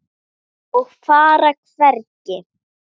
Og fara hvergi.